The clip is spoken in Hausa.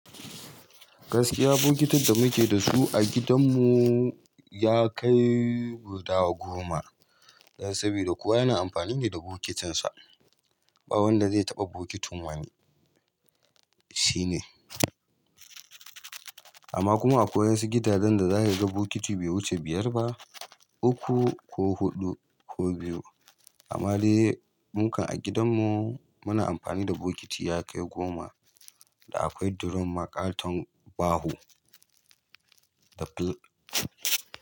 Gaskiya bokitin da muke da su a gidanmu ya kai guda goma, dan saboda kowa yana amfani ne da bokitinsa. Ba wanda zai taɓa bokitin wani, shine. Amma kuma akwai wasu gidajen da za ka ga bokiti bai wuce biyar ba, uku ko huɗu ko biyu. Amma dai mu kan a gidanmu muna amfani da bokiti ya kai goma da akwai durun ma ƙaton baho da fil--.